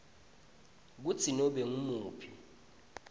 kutsi nobe ngumuphi